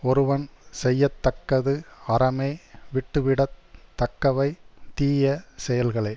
ஒருவன் செய்ய தக்கது அறமே விட்டுவிடத் தக்கவை தீய செயல்களே